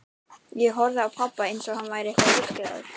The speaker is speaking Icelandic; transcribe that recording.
Ég horfði á pabba, einsog hann væri eitthvað ruglaður.